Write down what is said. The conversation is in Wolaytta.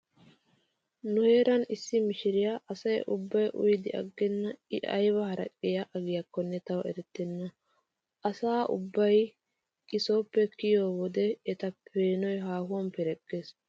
Nu heeran issi mishiriya asa ubbay uyidi aggenna i ayba haraqiya agiyakkonne tawu erettenna. Asa ubbay he sooppe kiyiyo wode eta peenoy haahuwan pereggees.